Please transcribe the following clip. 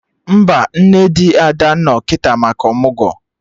Mba, nne di Ada no kịta maka ọmụgwọ